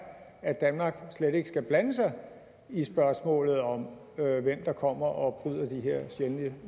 at danmark slet ikke skal blande sig i spørgsmålet om hvem der kommer og bryder de her sjældne